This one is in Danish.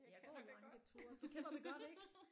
Jeg har prøvet mange metoder du kender det godt ik